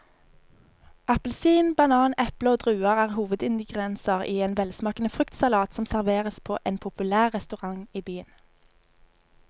Appelsin, banan, eple og druer er hovedingredienser i en velsmakende fruktsalat som serveres på en populær restaurant i byen.